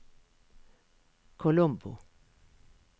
Colombo